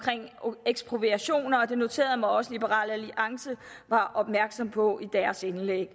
ekspropriation og jeg noterede mig også at liberal alliance var opmærksomme på det i deres indlæg